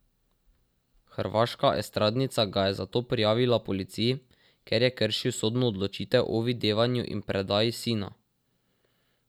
Hrvaška estradnica ga je zato prijavila policiji, ker je kršil sodno odločitev o videvanju in predaji sina.